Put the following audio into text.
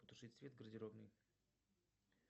потушить свет в гардеробной